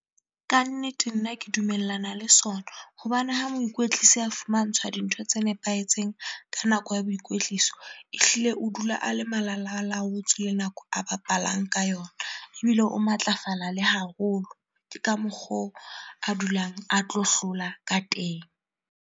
Ka nnete, nna ke dumellana le sona. Hobane ha moikwetlisi a fumantshwa dintho tse nepahetseng ka nako ya boikwetliso, ehlile o dula a le malalalaotswe le nako a bapalang ka yona ebile o matlafala le haholo. Ke ka mokgwa oo a dulang a tlo hlola ka teng.